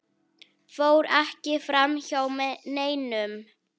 fór ekki framhjá neinum.